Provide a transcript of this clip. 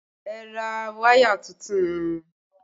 Ẹ ra wáyà tuntun!